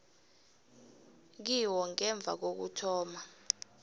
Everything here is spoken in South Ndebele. kiwo ngemva kokuthoma